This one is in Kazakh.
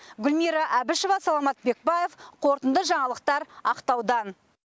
гүлмира әбішева саламат бекбаев қорытынды жаңалықтар ақтаудан